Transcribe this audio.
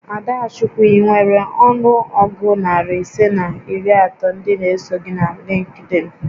Adachukwu, I nwèrè ọnụ ọgụ narị ise na iri atọ ndị n'eso gị na Lịnkdịn